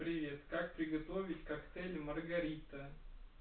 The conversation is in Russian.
привет как приготовить коктейль маргарита